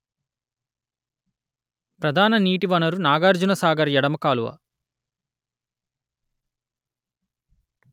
ప్రధాన నీటి వనరు నాగార్జున సాగర్ ఎడమ కాలువ